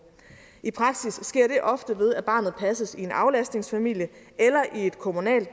i praksis sker det ofte ved at barnet passes i en aflastningsfamilie eller i et kommunalt